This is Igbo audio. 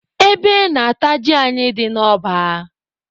Ebe na-ata ji anyị dị n'ọba.